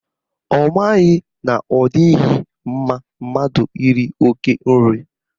Ọ maghị na ọ dịghị mma mmadụ iri oke nri